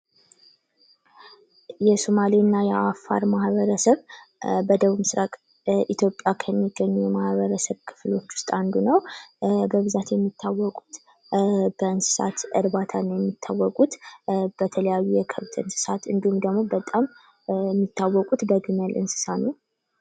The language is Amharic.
ማህበረሰብ የጋራ እሴቶችና ግቦች ያላቸው የሰዎች ስብስብ ሲሆን ቤተሰብ ደግሞ የቅርብ ዝምድና ያላቸውና አብረው የሚኖሩ ሰዎች ናቸው